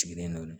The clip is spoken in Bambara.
Sigilen don